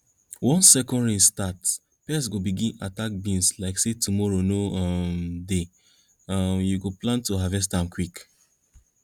once second rain start pests go begin attack beans like say tomorrow no um dey um you go plan to harvest am quick